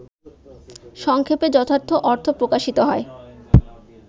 সংক্ষেপে যথার্থ অর্থ প্রকাশিত হয়